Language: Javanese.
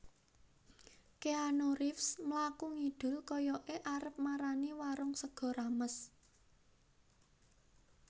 Keanu Reeves mlaku ngidul koyoke arep marani warung sego rames